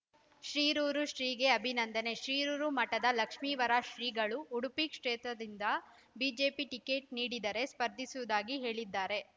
ಶಿರೂರು ಶ್ರೀಗೆ ಅಭಿನಂದನೆ ಶಿರೂರು ಮಠದ ಲಕ್ಷ್ಮಿವರ ಶ್ರೀಗಳು ಉಡುಪಿ ಕ್ಷೇತ್ರದಿಂದ ಬಿಜೆಪಿ ಟಿಕೆಟ್‌ ನೀಡಿದರೆ ಸ್ಪರ್ಧಿಸುವುದಾಗಿ ಹೇಳಿದ್ದಾರೆ